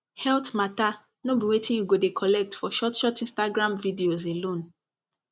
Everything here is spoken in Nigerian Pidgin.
health matter no be wetin you go dey collect for short short instagram videos alone